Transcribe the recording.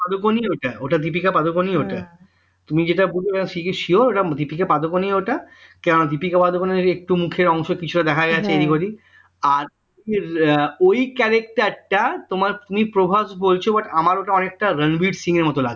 ওই character টা তোমার তুমি প্রভাস বলছো but আমার অনেকটা রণবীর সিং এর মতো লাগছে